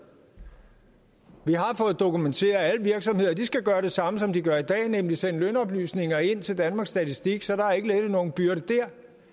vi har fået dokumenteret at alle virksomheder skal gøre det samme som de gør i dag nemlig sende lønoplysninger ind til danmarks statistik så der er ikke lettet nogen byrde